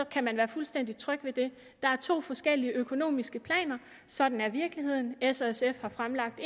kan man være fuldstændig tryg ved det der er to forskellige økonomiske planer sådan er virkeligheden s og sf har fremlagt